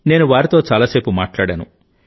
నేను వారితో చాలా సేపు మాట్లాడాను